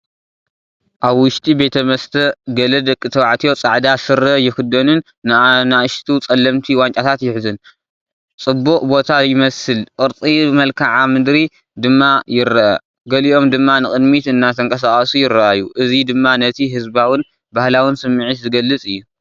ኣብ ውሽጢ ቤት መስተ ገለ ደቂ ተባዕትዮ ጻዕዳ ስረ ይኽደኑን ንኣሽቱ ጸለምቲ ዋንጫታት ይሕዙን። ጽቡቕ ቦታ ይመስል ቅርጺ መልክዓ ምድሪ ድማ ይርአ። ገሊኦም ድማ ንቕድሚት እናተንቀሳቐሱ ይረኣዩ። እዚ ድማ ነቲ ህዝባውን ባህላውን ስምዒት ዝገልጽ እዩ።